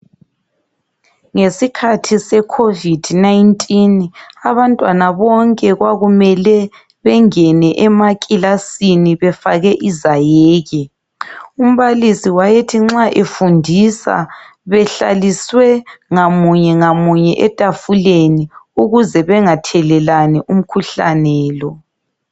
Ngesikhathi seCovid 19 abantwana bonke kwakumele bengene emaklasini befake izayeke. Umbalisi wayethi nxa efundisa behlaliswe ngamunye ngamunye etafuleni ukuze bengathelelani umkhuhlane lo.